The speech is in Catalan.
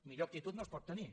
millor actitud no es pot tenir